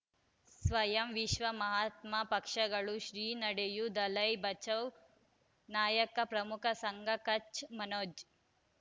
ಸ್ವಯಂ ವಿಶ್ವ ಮಹಾತ್ಮ ಪಕ್ಷಗಳು ಶ್ರೀ ನಡೆಯೂ ದಲೈ ಬಚೌ ನಾಯಕ ಪ್ರಮುಖ ಸಂಘ ಕಚ್ ಮನೋಜ್